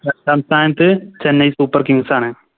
രണ്ടാം സ്ഥാനത്ത് Chennai super kings ആണ്